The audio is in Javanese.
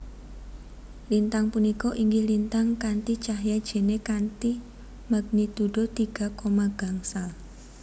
Lintang punika inggih lintang kanthi cahya jene kanthi magnitudo tiga koma gangsal